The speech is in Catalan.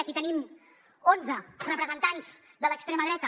aquí tenim onze representants de l’extrema dreta